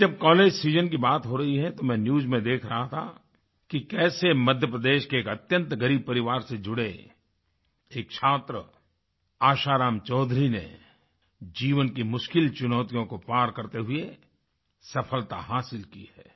अभी जब college season की बात हो रही है तो मैं न्यूज में देख रहा था कि कैसे मध्यप्रदेश के एक अत्यंत ग़रीब परिवार से जुड़े एक छात्र आशाराम चौधरी ने जीवन की मुश्किल चुनौतियों को पार करते हुए सफ़लता हासिल की है